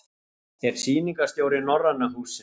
Er Sýningarstjóri Norræna hússins.